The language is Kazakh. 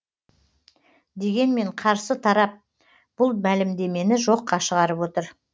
дегенмен қарсы тарап бұл мәлімдемені жоққа шығарып отыр